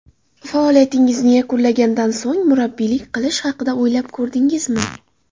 Faoliyatingizni yakunlagandan so‘ng murabbiylik qilish haqida o‘ylab ko‘rdingizmi?